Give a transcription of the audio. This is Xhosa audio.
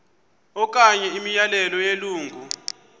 okanye imiyalelo yelungu